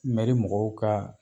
Mɛri mɔgɔw ka